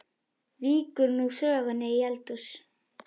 Víkur nú sögunni í eldhús.